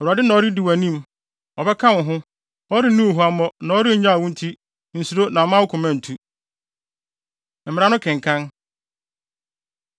Awurade na ɔredi wʼanim. Ɔbɛka wo ho; ɔrenni wo huammɔ na ɔrennyaw wo nti nsuro na mma wo koma ntu!” Mmara No Kenkan